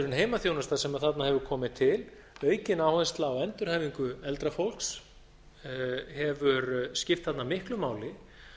heimaþjónusta sem þarna hefur komið til aukin áhersla á endurhæfingu eldra fólks hefur skipt þarna miklu máli